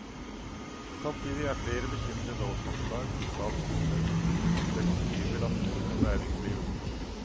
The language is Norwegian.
Samtidig er flere bekymret over forslag i statsbudsjettet som legger nye belastninger på næringslivet.